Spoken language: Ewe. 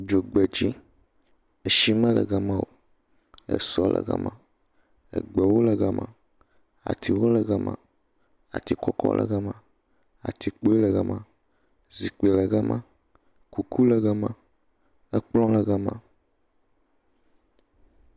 Dzogbedzi, tsi mele gema o, sɔ le gema, gbewo le gema, atiwo le gema, atikɔkɔ le gema, ati kpuiwo le gema, zikpui le gema, kuku le gema, kplɔ̃ le gema.